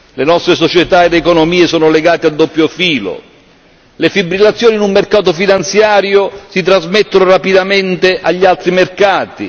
Le nostre società ed economie sono legate a doppio filo, le fibrillazioni in un mercato finanziario si trasmettono rapidamente agli altri mercati.